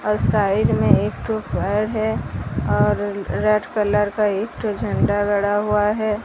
और साइड मे एक ठो और रेड कलर का एक ठो झंडा गढ़ा हुआ है।